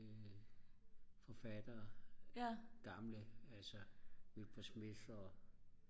forfattere gamle altså Wilbur Smith